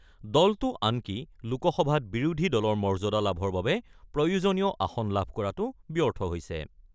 দলটো আনকি লোকসভাত বিৰোধী দলৰ মৰ্যাদা লাভৰ বাবে প্ৰয়োজনীয় আসন লাভ কৰাতো ব্যৰ্থ হৈছে।